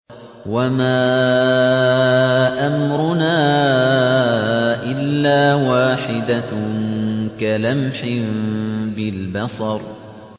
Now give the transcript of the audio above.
وَمَا أَمْرُنَا إِلَّا وَاحِدَةٌ كَلَمْحٍ بِالْبَصَرِ